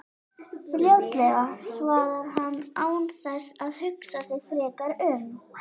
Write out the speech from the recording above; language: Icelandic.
Fljótlega, svarar hann án þess að hugsa sig frekar um.